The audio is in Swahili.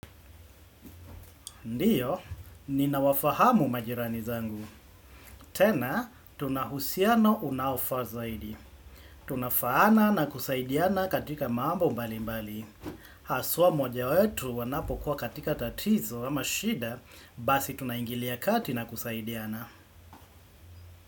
Ndiyo, ninawafahamu majirani zangu. Tena, tunahusiano unaofaa zaidi. Tunafaana na kusaidiana katika mambo mbali mbali. Haswa moja wetu wanapokuwa katika tatizo ama shida, basi tunaingilia kati na kusaidiana.